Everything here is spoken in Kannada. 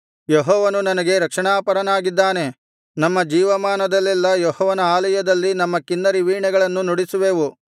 ಯೆಹೋವನು ನನಗೆ ರಕ್ಷಣಾಪರನಾಗಿದ್ದಾನೆ ನಮ್ಮ ಜೀವಮಾನದಲ್ಲೆಲ್ಲಾ ಯೆಹೋವನ ಆಲಯದಲ್ಲಿ ನಮ್ಮ ಕಿನ್ನರಿ ವೀಣೆಗಳನ್ನು ನುಡಿಸುವೆವು